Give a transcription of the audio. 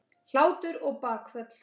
Hlátur og bakföll.